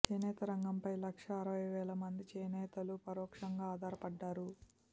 చేనేత రంగంపై లక్షా అరవై వేల మంది చేనేతలు పరోక్షంగా ఆధారపడ్డారు